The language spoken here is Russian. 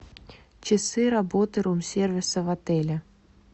часы работы рум сервиса в отеле